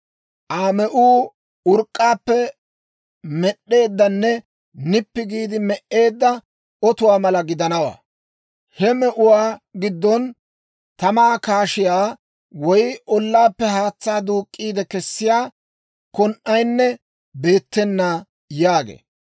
Aa me'uu urk'k'aappe med'd'eeddanne nippi giide me"eedda otuwaa mala gidanawaa; he me'uwaa giddon tamaa kaashiyaa woy ollaappe haatsaa duuk'k'iide kessiyaa kon"aynne beettena» yaagee.